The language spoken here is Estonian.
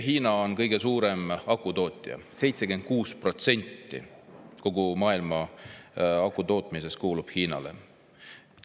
Hiina on kõige suurem akutootja: 76% kogu maailma akutootmisest kuulub Hiinale.